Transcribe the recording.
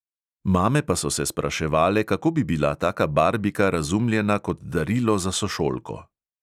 Mame pa so se spraševale, kako bi bila taka barbika razumljena kot darilo za sošolko.